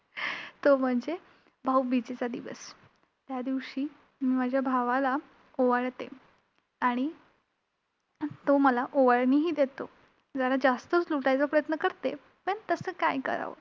तो म्हणजे भाऊबीजेचा दिवस! त्यादिवशी, मी माझ्या भावाला ओवाळते आणि तो मला ओवाळणीही देतो. जरा जास्तंच लुटायचा प्रयत्न करते पण तसं काय करावं?